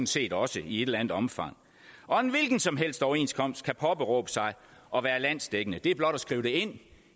set også i et eller andet omfang og en hvilken som helst overenskomst kan påberåbe sig at være landsdækkende det er blot at skrive det ind